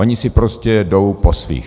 Oni si prostě jdou po svých.